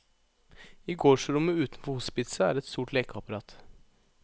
I gårdsrommet utenfor hospitset er et stort lekeapparat.